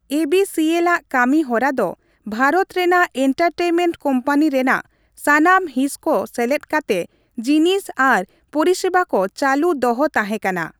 ᱮᱹᱵᱤᱹᱥᱤᱹᱮᱞᱼᱟᱜ ᱠᱟᱹᱢᱤ ᱦᱚᱨᱟ ᱫᱚ ᱵᱷᱟᱨᱚᱛ ᱨᱮᱱᱟᱜ ᱮᱱᱴᱟᱨᱴᱮᱱᱢᱮᱱᱴ ᱠᱳᱢᱯᱟᱱᱤ ᱨᱮᱱᱟᱜ ᱥᱟᱱᱟᱢ ᱦᱤᱸᱥ ᱠᱚ ᱥᱮᱞᱮᱫ ᱠᱟᱛᱮ ᱡᱤᱱᱤᱥ ᱟᱨ ᱯᱚᱨᱤᱥᱮᱵᱟ ᱠᱚ ᱪᱟᱹᱞᱩ ᱫᱚᱦᱚ ᱛᱟᱸᱦᱮ ᱠᱟᱱᱟ ᱾